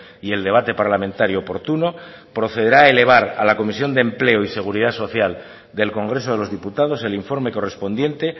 y el debate parlamentario oportuno procederá a elevar a la comisión de empleo y seguridad social del congreso de los diputados el informe correspondiente